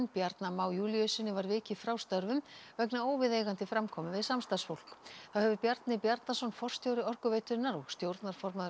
Bjarna Má Júlíussyni var vikið frá störfum vegna óviðeigandi framkomu við samstarfsfólk þá hefur Bjarni Bjarnason forstjóri Orkuveitunnar og stjórnarformaður